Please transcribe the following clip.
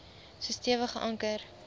so stewig geanker